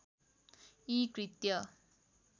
यी कृत्य